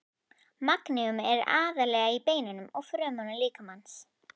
Magníum er aðallega í beinum og frumum líkamans.